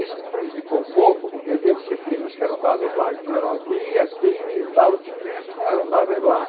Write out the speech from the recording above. Isso me prejudicou um pouco, porque havia disciplinas que eram dadas lá, que não eram aqui, e aqui dava disciplinas que não eram dadas lá.